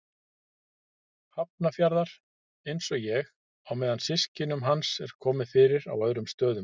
Hafnarfjarðar, einsog ég, á meðan systkinum hans er komið fyrir á öðrum stöðum.